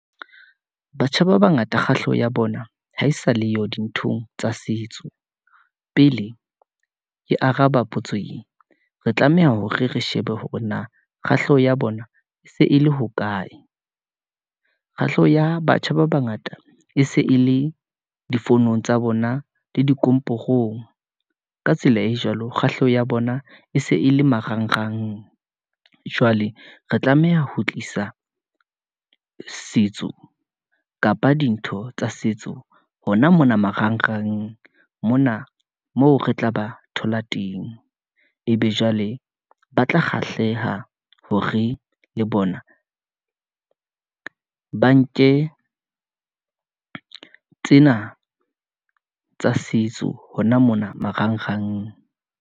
Batjha ba bangata kgahleho ya bona, ha e sa leyo dinthong tsa setso. Pele ke araba potso e, re tlameha hore re shebe hore na kgahleho ya bona, e se e le hokae. Kgahleho ya batjha ba bangata e se e le difonong tsa bona, le di komporong. Ka tsela e jwalo, kgahleho ya bona e se e le marangrang. Jwale re tlameha ho tlisa setso kapa dintho tsa setso, hona mona marangrang mona moo re tla ba thola teng. Ebe jwale ba tla kgahleha, hore le bona ba nke tsena tsa setso, hona mona marangrang.